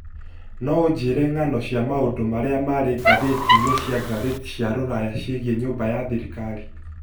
no ũnjĩĩre ng'ano cia maũndũ marĩa marĩ ngathĩti-inĩ cia ngathĩti cia rũraya ciĩgiĩ nyũmba ya thirikari.